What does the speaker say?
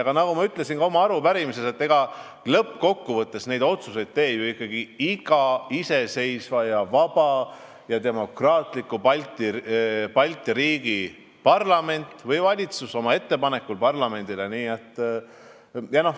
Aga nagu ma ütlesin ka oma vastuses, lõppkokkuvõttes teeb neid otsuseid ju ikkagi iga iseseisva, vaba ja demokraatliku Balti riigi parlament või valitsus oma ettepanekus parlamendile.